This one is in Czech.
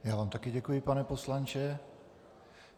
Já vám také děkuji, pane poslanče.